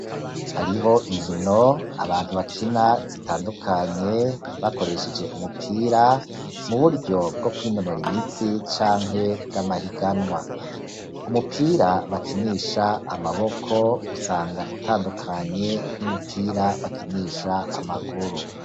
Hariho inkino, abantu bakina, zitandukanye, bakoresheje umupira, mu buryo bwo kwinonura imitsi canke bw'amahiganwa; umupira bakinisha amaboko, usanga utandukanye n'umupira bakinisha amaguru.